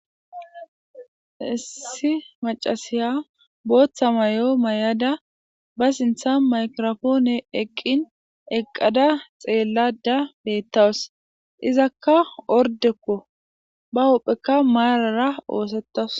Issi macasiya booththa may7o mayada ba sintha maykirofoone eqqin eqqada xeellada beettawus izakka ordekko ba huphphekka maarara oosetawus.